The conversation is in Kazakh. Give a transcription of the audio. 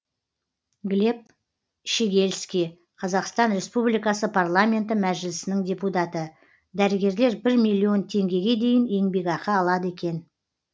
глеб щегельский қазақстан республикасы парламенті мәжілісінің депутаты дәрігерлер бір миллион теңгеге дейін еңбекақы алады екен